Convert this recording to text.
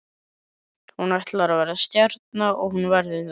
Hún ætlar að verða stjarna og hún verður það.